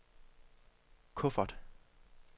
kuffert